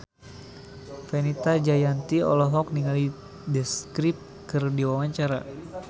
Fenita Jayanti olohok ningali The Script keur diwawancara